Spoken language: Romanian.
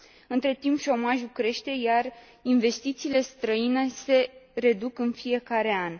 Între timp, șomajul crește, iar investițiile străine se reduc în fiecare an.